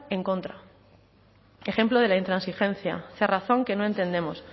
en contra ejemplo de la intransigencia cerrazón que no entendemos